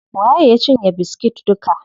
Waye ya cinye biskit duka?